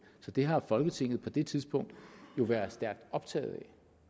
så det har folketinget på det tidspunkt jo været stærkt optaget af